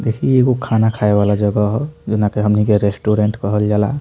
देखीं ई एगो खाना खाए वाला जगह है जेना की हमनी के रेस्टोरेंट कहल जाला।